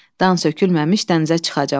Dan sökülməmiş dənizə çıxacam.